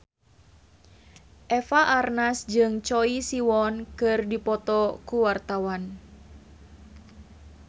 Eva Arnaz jeung Choi Siwon keur dipoto ku wartawan